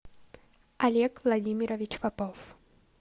олег владимирович попов